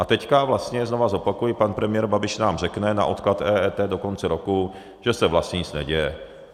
A teď vlastně znova zopakuji, pan premiér Babiš nám řekne na odklad EET do konce roku, že se vlastně nic neděje.